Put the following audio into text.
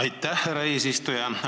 Aitäh, härra eesistuja!